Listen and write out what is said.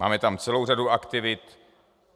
Máme tam celou řadu aktivit.